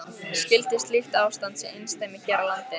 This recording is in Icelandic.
Skyldi slíkt ástand sé einsdæmi hér á landi?